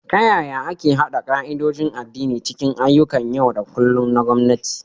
Ta yaya ake haɗa ƙa'idodin addini cikin ayyukan yau da kullun na gwamnati?